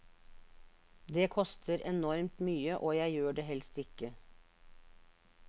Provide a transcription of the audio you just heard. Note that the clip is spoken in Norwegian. Det koster enormt mye, og jeg gjør det helst ikke.